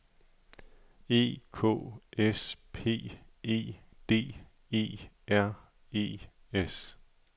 E K S P E D E R E S